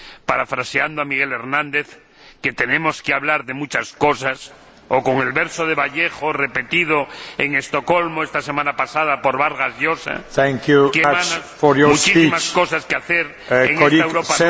Parafraseando a Miguel Hernández, que tenemos que hablar de muchas cosas, o con el verso de Vallejo, repetido en Estocolmo esta semana pasada por Vargas Llosa, Hay, hermanos, muchísimo que hacer, en esta Europa